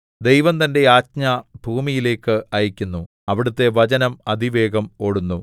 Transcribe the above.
ദൈവം തന്റെ ആജ്ഞ ഭൂമിയിലേക്ക് അയയ്ക്കുന്നു അവിടുത്തെ വചനം അതിവേഗം ഓടുന്നു